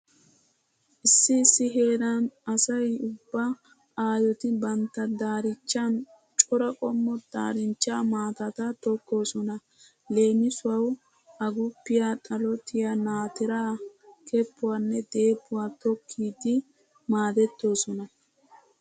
Issi issi heeran asay ubba aayoti bantta daarichchan cora qommo daarinchcha maatata tokkoosona. Leemisuwawu aguppiya ,xalotiya, naatiraa keppuwanne deebbuwa tokkidi maadettoosona.